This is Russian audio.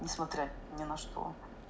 несмотря ни на что